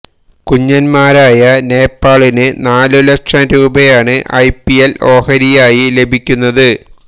കുഞ്ഞന്മാരായ നേപ്പാളിന് നാലു ലക്ഷം രൂപയാണ് ഐ പി എല് ഓഹരിയായി ലഭിക്കുന്നത്